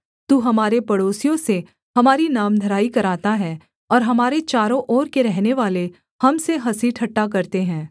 तू हमारे पड़ोसियों से हमारी नामधराई कराता है और हमारे चारों ओर के रहनेवाले हम से हँसी ठट्ठा करते हैं